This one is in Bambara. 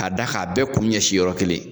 K'a da k'a bɛɛ kun ɲɛsi yɔrɔ kelen